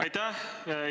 Aitäh!